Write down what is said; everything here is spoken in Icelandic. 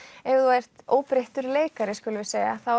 ef þú ert óbreyttur leikari skulum við segja